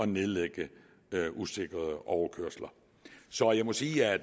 nedlægge usikrede overkørsler så jeg må sige at